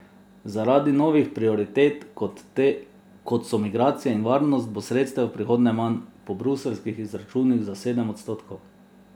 Zaradi novih prioritet, kot so migracije in varnost, bo sredstev v prihodnje manj, po bruseljskih izračunih za sedem odstotkov.